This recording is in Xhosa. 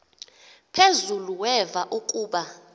phezulu weva ukuba